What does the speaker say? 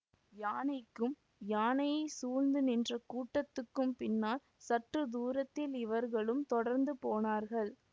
யானைக்கும் யானையைச் சூழ்ந்து நின்ற கூட்டத்துக்கும் பின்னால் சற்று தூரத்தில் இவர்களும் தொடர்ந்து போனார்கள்